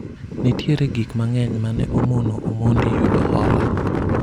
nitiere gik mang'eny mane omono Omondi yudo hola